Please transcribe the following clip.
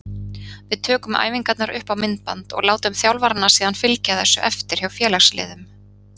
Við tökum æfingarnar upp á myndband og látum þjálfarana síðan fylgja þessu eftir hjá félagsliðum.